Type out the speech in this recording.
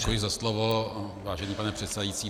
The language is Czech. Děkuji za slovo, vážený pane předsedající.